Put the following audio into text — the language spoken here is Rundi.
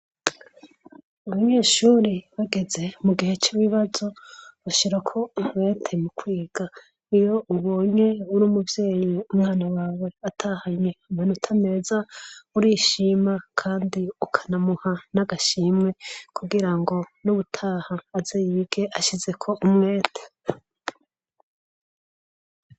Abanyeshure bageze mu gihe c'ibibazo bashirako umwete mu kwiga. Iyo ubonye ur'umuvyeyi umwana wawe atahanye amanota meza urishima kandi ukanamuha n'agashimwe kugira ngo nuwutaha aze yige ashizeko umwete.